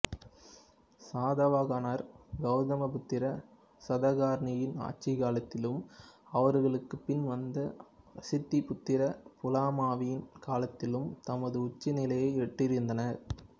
சாதவாகனர் கௌதமிபுத்ர சதகர்ணியின் ஆட்சிக் காலத்திலும் அவர்களுக்குப் பின் வந்த வசித்திபுத்திர புலாமவியின் காலத்திலும் தமது உச்ச நிலையை எட்டியிருந்தனர்